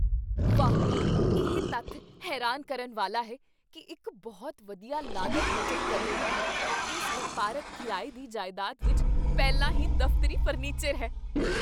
ਵਾਹ! ਇਹ ਤੱਥ ਹੈਰਾਨ ਕਰਨ ਵਾਲਾ ਹੈ ਕੀ ਇੱਕ ਬਹੁਤ ਵਧੀਆ ਲਾਗਤ ਬਚਤ ਕਰਨ ਵਾਲੀ ਇਸ ਵਪਾਰਕ ਕਿਰਾਏ ਦੀ ਜਾਇਦਾਦ ਵਿੱਚ ਪਹਿਲਾਂ ਹੀ ਦਫ਼ਤਰੀ ਫਰਨੀਚਰ ਹੈ